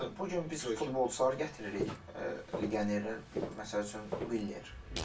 Məsəl üçün bu gün biz futbolçuları gətiririk legionerlər məsəl üçün Miller.